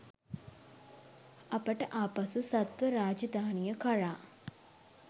අපට ආපසු සත්ව රාජධානිය කරා